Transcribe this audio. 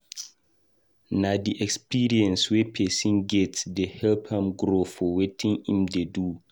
Na di experience wey pesin get dey help am grow for wetin im dey do.